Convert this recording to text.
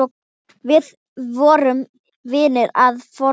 Við vorum vinir að fornu.